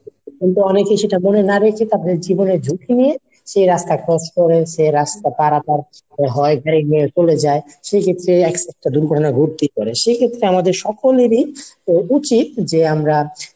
উল্টো অনেকে এসে চারপাশে না দেখে তারপর জীবনের ঝুঁকি নিয়ে সে রাস্তা cross করে, সে রাস্তা পারাপার হয় চলে যায়, সেক্ষেত্রে accident দুর্ঘটনা ঘটতেই পারে, সেক্ষেত্রে আমাদের সকলেরই অবশ্যই যে আমরা